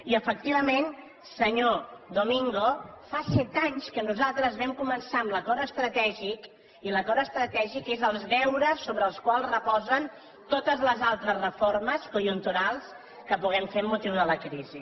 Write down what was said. i efectivament senyor domingo fa set anys que nosaltres vam començar amb l’acord estratègic i l’acord estratègic són els deures sobre els quals reposen totes les altres reformes conjunturals que puguem fer amb motiu de la crisi